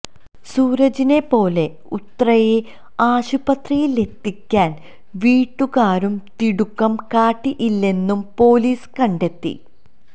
സൂരജിനെ പോലെ ഉത്രയെ ആശുപത്രിയിലെത്തിക്കാൻ വീട്ടുകാരും തിടുക്കം കാട്ടിയില്ലെന്നും പൊലീസ് കണ്ടെത്തി